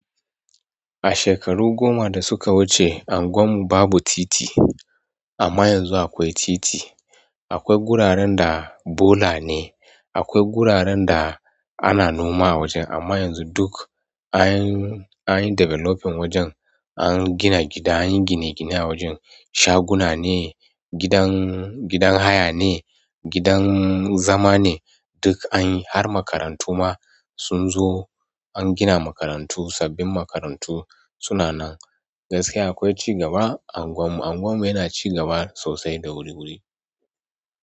A shekaru goma da suka wuce, unguwar mu babu titi amma yanzu akwai titi. Akwai guraren da bola ne, akwai guraren da ana noma a wajen, amma yanzu duk anyi developing wajen. An gina gida, anyi gine gine a wajen, shaguna ne, gidan, gidan haya ne, gidan zama ne duk anyi. Har makarantu ma sun zo, an gina makarantu sabbin makarantu suna nan. Gaskiya akwai cigaba a unguwar mu. Unguwar mu yana cigaba sosai da wuri wuri.